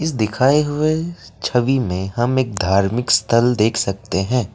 दिखाए हुए छवि में हम एक धार्मिक स्थल देख सकते हैं।